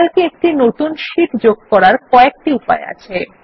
Calc এ একটি নতুন শীট যোগ করার কয়েকটি উপায় আছে